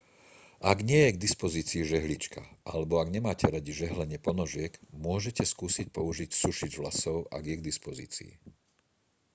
ak nie je k dispozícii žehlička alebo ak nemáte radi žehlenie ponožiek môžete skúsiť použiť sušič vlasov ak je k dispozícii